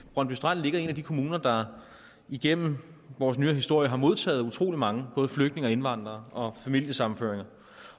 brøndby strand ligger i en af de kommuner der igennem vores nyere historie har modtaget utrolig mange både flygtninge og indvandrere og familiesammenførte